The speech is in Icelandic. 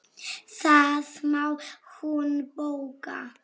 Það má hún bóka.